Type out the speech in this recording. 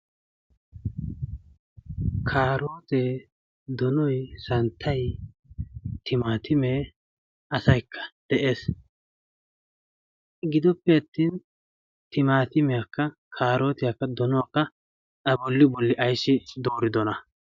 karootee, donoi, santtay, timaatiimee asaikka de7ees. gidoppe attin timaatimeakka kaarootiyaakka donuwakka a bolli bolli ayissi dooridona?